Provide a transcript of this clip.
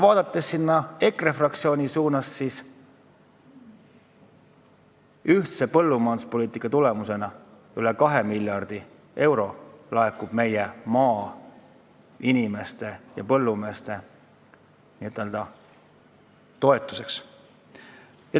EKRE fraktsiooni poole vaadates märgin, et ühise põllumajanduspoliitika tulemusena laekub meie maainimeste toetuseks üle 2 miljardi euro.